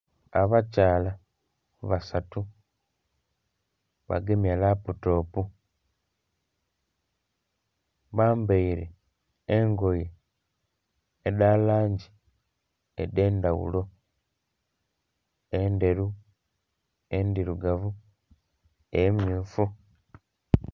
Abakyala basatu bagemye laputopu, bambaire engoye edha langi edhe'ndhaghulo, endheru endhirugavu, emyufu.